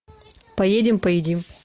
поедем поедим